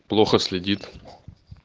плохо следит